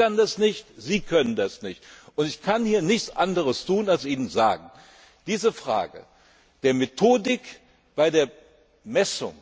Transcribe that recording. Ich kann das nicht, Sie können das nicht. Ich kann hier nichts anderes tun, als eben sagen Diese Frage der Methodik bei der Messung